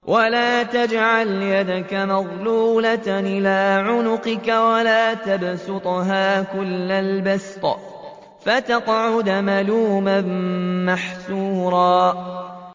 وَلَا تَجْعَلْ يَدَكَ مَغْلُولَةً إِلَىٰ عُنُقِكَ وَلَا تَبْسُطْهَا كُلَّ الْبَسْطِ فَتَقْعُدَ مَلُومًا مَّحْسُورًا